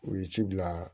U ye ci bila